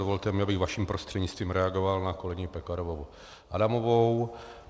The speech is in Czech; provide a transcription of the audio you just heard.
Dovolte mi, abych vaším prostřednictvím reagoval na kolegyni Pekarovou Adamovou.